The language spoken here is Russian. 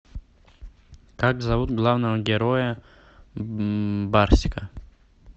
как зовут главного героя барсика